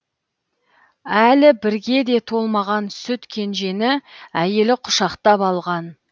әлі бірге де толмаған сүт кенжені әйелі құшақтап алған